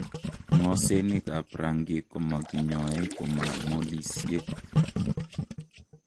Ng'osenik ab rangik komakinyoee koma molisiek